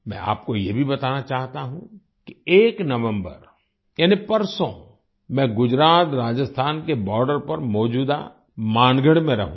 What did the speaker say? मैं आपको ये भी बताना चाहता हूँ कि एक नवम्बर यानी परसों मैं गुजरातराजस्थान के बॉर्डर पर मौजूदा मानगढ़ में रहूँगा